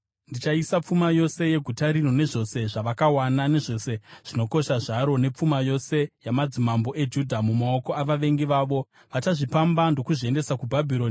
Ndichaisa pfuma yose yeguta rino, nezvose zvavakawana, nezvose zvinokosha zvaro, nepfuma yose yamadzimambo eJudha, mumaoko avavengi vavo. Vachazvipamba ndokuzviendesa kuBhabhironi.